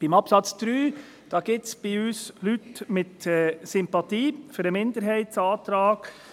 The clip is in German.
Beim Absatz 3 gibt es bei uns Leute, die Sympathien haben für den Minderheitsantrag.